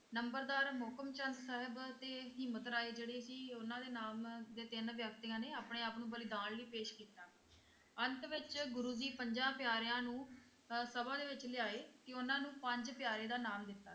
ਨੰਬਰਦਾਰ ਮੋਹਕਮ ਚੰਦ ਸਾਹਿਬ ਅਤੇ ਹਿੰਮਤ ਰਾਏ ਜਿਹੜੇ ਸੀ ਉਹਨਾਂ ਦੇ ਨਾਮ ਦੇ ਤਿੰਨ ਵਿਅਕਤੀਆਂ ਨੇ ਆਪਣੇ ਆਪ ਨੂੰ ਬਲੀਦਾਨ ਲਈ ਪੇਸ਼ ਕੀਤਾ ਅੰਤ ਵਿੱਚ ਗੁਰੂ ਜੀ ਪੰਜਾਂ ਪਿਆਰਿਆਂ ਨੂੰ ਅਹ ਸਭਾ ਦੇ ਵਿੱਚ ਲਿਆਏ ਤੇ ਉਹਨਾਂ ਨੂੰ ਪੰਜ ਪਿਆਰੇ ਦਾ ਨਾਮ ਦਿੱਤਾ।